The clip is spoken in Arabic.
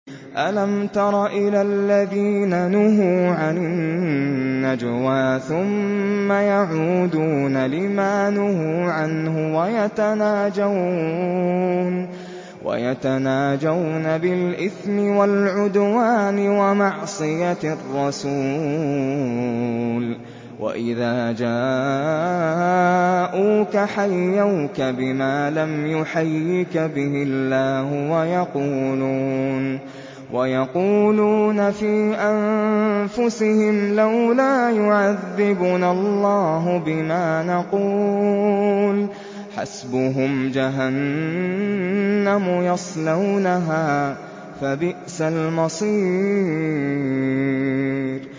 أَلَمْ تَرَ إِلَى الَّذِينَ نُهُوا عَنِ النَّجْوَىٰ ثُمَّ يَعُودُونَ لِمَا نُهُوا عَنْهُ وَيَتَنَاجَوْنَ بِالْإِثْمِ وَالْعُدْوَانِ وَمَعْصِيَتِ الرَّسُولِ وَإِذَا جَاءُوكَ حَيَّوْكَ بِمَا لَمْ يُحَيِّكَ بِهِ اللَّهُ وَيَقُولُونَ فِي أَنفُسِهِمْ لَوْلَا يُعَذِّبُنَا اللَّهُ بِمَا نَقُولُ ۚ حَسْبُهُمْ جَهَنَّمُ يَصْلَوْنَهَا ۖ فَبِئْسَ الْمَصِيرُ